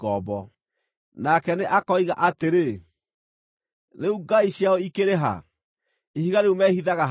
Nake nĩ akoiga atĩrĩ, “Rĩu ngai ciao ikĩrĩ ha, ihiga rĩu meehithaga harĩ rĩo,